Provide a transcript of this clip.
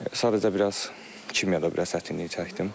Sadəcə biraz kimyada biraz çətinlik çəkdim.